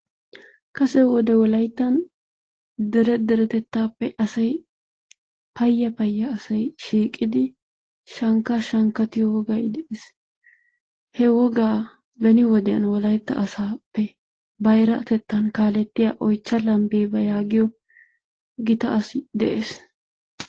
Kase wode wolayttan dere deretettaappe asay payya payya asay shiiqqidi shankkaa shankkattiyo wogay de'ees, he wogaa beni wodiyan wolaytta asaappe bayratettan kaalettiya Oychcha Lambbeeba yaagiyo gita asi de'ees.